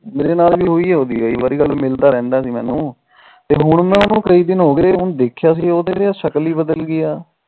ਮੇਰੇ ਨਾਲ ਵੀ ਹੋਈ ਉਹਦੀ ਗੱਲ ਮਿਲਦਾ ਰਹਿੰਦਾ ਸੀ ਮੈਨੂੰ ਤੇ ਹੁਣ ਕਈ ਦਿਨ ਹੋਗੇ ਦੇਖਿਆ ਤਾ ਸ਼ਕਲ ਹੀ ਬਦਲ ਗੀਆਂ